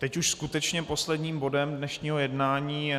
Teď už skutečně posledním bodem dnešního jednání je